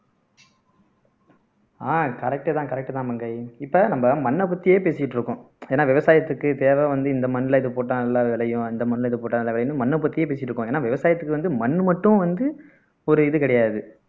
அஹ் correct தான் correct தான் மங்கை இப்ப நம்ம மண்ணை பத்தியே பேசிட்டு இருக்கோம் ஏன்னா விவசாயத்துக்கு தேவை வந்து இந்த மண்ணுல இது போட்டா நல்லா விளையும் இந்த மண்ணுல இது போட்டா நல்லா விளையும்ன்னு மண்ணை பத்தியே பேசிட்டிருக்கோம் ஏன்னா விவசாயத்துக்கு வந்து மண்ணு மட்டும் வந்து ஒரு இது கிடையாது